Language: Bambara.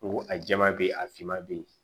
N ko a jɛman bɛ ye a finma be yen